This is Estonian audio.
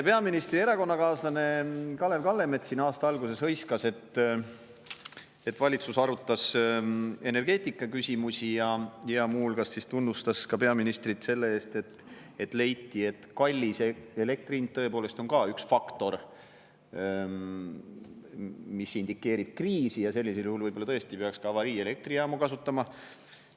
Peaministri erakonnakaaslane Kalev Kallemets siin aasta alguses hõiskas, et valitsus arutas energeetikaküsimusi, ja muu hulgas ta tunnustas ka peaministrit selle eest, et leiti, et kallis elektri hind tõepoolest on ka üks faktor, mis indikeerib kriisi, ja sellisel juhul võib-olla tõesti peaks ka avariielektrijaamu kasutama.